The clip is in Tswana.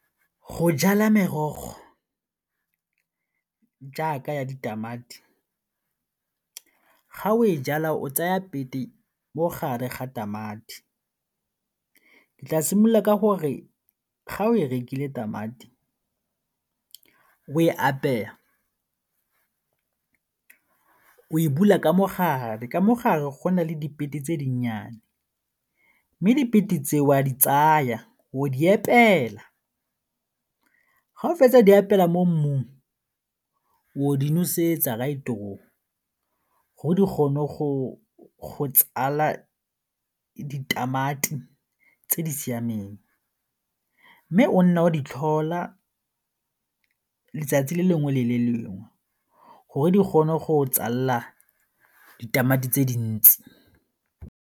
Go jala merogo jaaka ya ditamati, ga o e jala o tsaya pete mo gare ga tamati, ke tla simolola ka gore ga o e rekile tamati, o e apeya, o e bula ka mo gare, ka mo gare go na le tse dinnyane mme tse o a di tsaya o di epela, ga o fetsa go di epela mo mmung, o di nosetsa gore di kgone go tsala ditamati tse di siameng mme o nna o di tlhola letsatsi le lengwe le le lengwe gore di gone go tsalela ditamati tse dintsi.